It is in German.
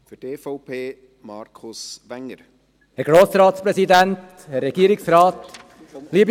«Hätte» und «wollte» waren zwei Brüder.